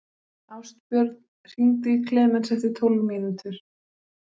Ástbjörn, hringdu í Klemens eftir tólf mínútur.